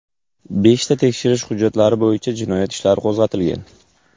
Beshta tekshirish hujjatlari bo‘yicha jinoyat ishlari qo‘zg‘atilgan.